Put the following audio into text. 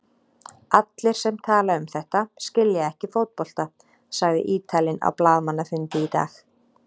Allir sem tala um þetta skilja ekki fótbolta, sagði Ítalinn á blaðamannafundi í dag.